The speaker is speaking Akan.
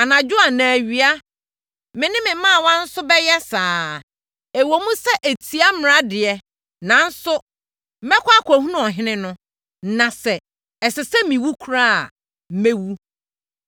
anadwo anaa awia. Me ne me mmaawa nso bɛyɛ saa ara. Ɛwom sɛ, ɛtia mmara deɛ, nanso, mɛkɔ akɔhunu ɔhene no na sɛ, ɛsɛ sɛ mɛwu koraa a, mɛwu.”